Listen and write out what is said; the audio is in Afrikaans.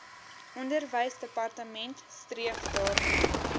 onderwysdepartement streef daarna